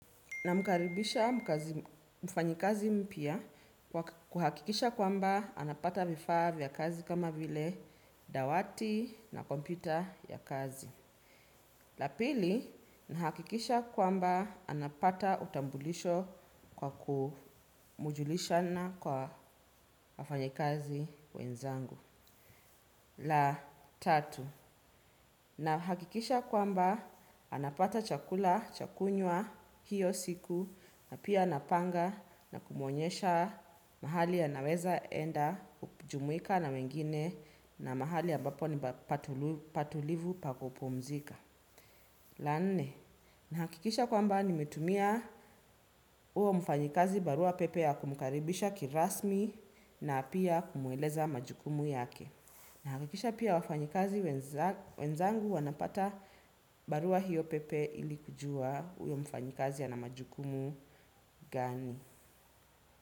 Namkaribisha mfanyikazi mpya kuhakikisha kwamba anapata vifaa vya kazi kama vile dawati na kompyuta ya kazi. La pili, nahakikisha kwamba anapata utambulisho kwa kumjulisha na kwa wafanyikazi wenzangu. La tatu, nahakikisha kwamba anapata chakula cha kunywa hiyo siku na pia napanga na kumwonyesha mahali a anaweza enda kujumuika na wengine na mahali ambapo ni patulivu pa kupumzika. La nne, nahakikisha kwamba nimetumia huo mfanyikazi barua pepe ya kumukaribisha kirasmi na pia kumweleza majukumu yake. Nahakikisha pia wafanyikazi wenzangu wanapata barua hiyo pepe ili kujua huyo mfanyikazi ana majukumu gani.